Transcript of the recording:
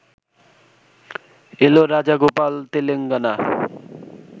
এল Rajagopal Telangana